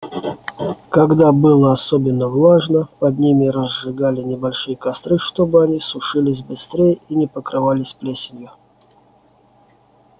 когда было особенно влажно под ними разжигали небольшие костры чтобы они сушились быстрее и не покрывались плесенью